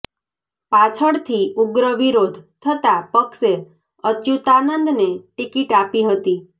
પાછળથી ઉગ્ર વિરોધ થતાં પક્ષે અચ્યુતાનંદને ટિકિટ આપી હતી